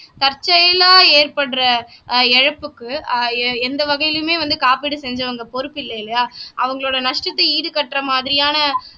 தற்செயலா ஏற்படுற அஹ் இழப்புக்கு ஆஹ் எந்த வகையிலுமே வந்து காப்பீடு செஞ்சவங்க பொறுப்பு இல்லை இல்லையா அவங்களோட நஷ்டத்தை ஈடுகட்டுற மாதிரியான